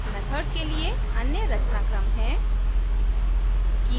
method के लिए अन्य रचनाक्रम है